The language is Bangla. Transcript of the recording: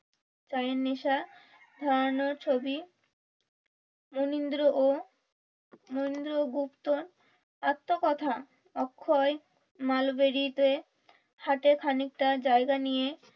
চায়ের নেশা ছড়ানো ছবি মনিন্দ্র ও মনিন্দ্র গুপ্ত এত্ত কথা অক্ষয় মাল বেরিতে হাটে খানিকটা জায়গা নিয়ে